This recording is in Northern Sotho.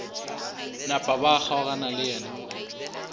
napa ba kgaogana le yena